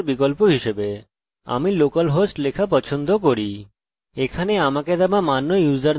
এখন আমাকে দেওয়া মান্য ইউসারনেম এবং পাসওয়ার্ড ব্যবহার করব